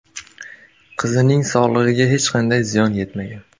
Qizning sog‘lig‘iga hech qanday ziyon yetmagan.